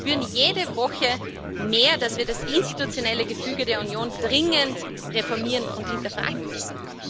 Wir spüren jede Woche mehr, dass wir das institutionelle Gefüge der Union dringend reformieren und hinterfragen müssen.